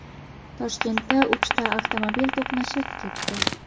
Toshkentda uchta avtomobil to‘qnashib ketdi.